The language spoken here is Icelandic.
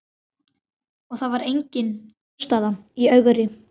Og það var engin aðstaða í Ögri.